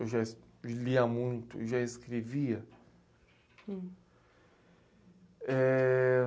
Eu já es, lia muito e já escrevia.